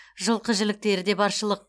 жылқы жіліктері де баршылық